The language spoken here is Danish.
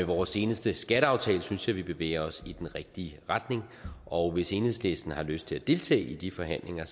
vores seneste skatteaftale synes jeg vi bevæger os i den rigtige retning og hvis enhedslisten har lyst til at deltage i de forhandlinger